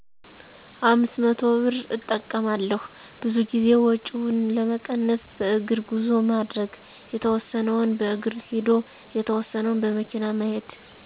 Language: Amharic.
500ብር እጠቀማለሁ፣ ብዙ ጊዜ ወጭውን ለመቀነስ በእግር ጉዞ ማድረግ፣ የተወሰነውን በእግር ሂዶ የተወሰነውን በመኪና መሄድ።